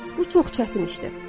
Bu çox çətin işdir.